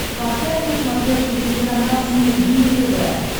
поставь на смотрешке телеканал синергия тв